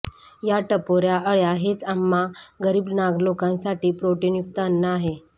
या टपोऱ्या अळ्या हेच आम्हा गरीब नाग लोकांसाठी प्रोटिनयुक्त अन्न आहे